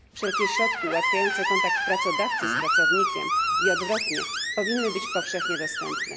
Wszelkie środki ułatwiające kontakt pracodawcy z pracownikiem i odwrotnie powinny być powszechnie dostępne.